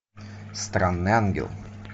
странный ангел